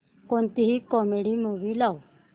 कोणतीही comedy movie लाव